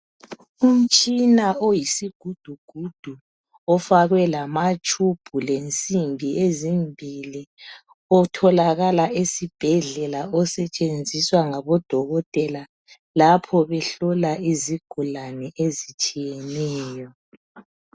Umtshina oyisigidugudu ofakwe lamatshubhu lensimbi ezimbili otholakala esibhedlela osetshenziswa ngabodokotela lapho behlola izigulane ezitshiyeneyo.